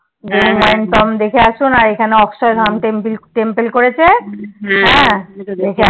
Hanuman tomb দেখে আসুন আর এখানে অক্ষয় ধাওম টেম্পিল Temple করেছে হ্যা